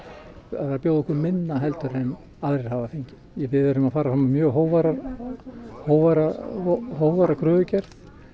þeir bjóða okkur minna en aðrir hafa fengið við erum að fara fram á mjög hógværa hógværa hógværa kröfugerð